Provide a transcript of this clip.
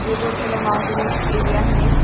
ये जो थोड़ा माउंटेनस एरिया है।